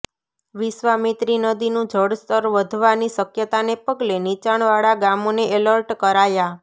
વિશ્વામિત્રી નદીનું જળસ્તર વધવાની શક્યતાને પગલે નિચાણવાળા ગામોને એલર્ટ કરાયા